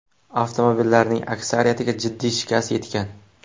Avtomobillarning aksariyatiga jiddiy shikast yetgan.